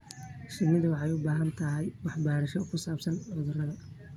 Shinnidu waxay u baahan tahay waxbarasho ku saabsan cudurrada.